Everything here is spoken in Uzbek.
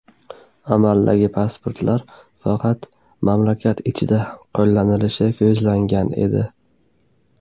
Amaldagi pasportlar faqat mamlakat ichida qo‘llanilishi ko‘zlangan edi.